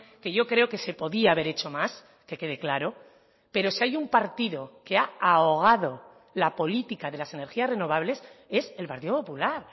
que yo creo que se podía haber hecho más que quede claro pero si hay un partido que ha ahogado la política de las energías renovables es el partido popular